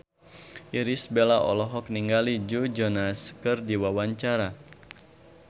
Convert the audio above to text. Irish Bella olohok ningali Joe Jonas keur diwawancara